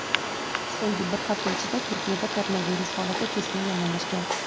So‘nggi bir hafta ichida Turkiyada koronavirus holati keskin yomonlashgan.